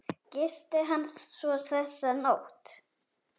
Gisti hann svo þessa nótt?